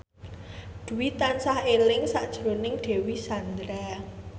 Dwi tansah eling sakjroning Dewi Sandra